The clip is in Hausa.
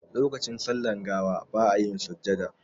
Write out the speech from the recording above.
Lokacin sallar gawa ba a yin sujjada.